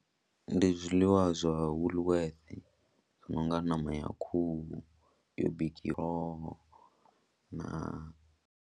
Ndi zwiḽiwa zwa Woolworth zwi no nga ṋama ya khuhu yo bikiwaho na.